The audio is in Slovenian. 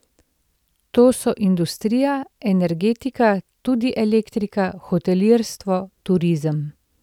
Tu so industrija, energetika, tudi elektrika, hotelirstvo, turizem.